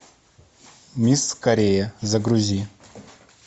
мисс корея загрузи